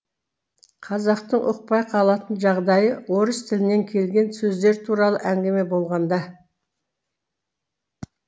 қазақтың ұқпай қалатын жағдайы орыс тілінен келген сөздер туралы әңгіме болғанда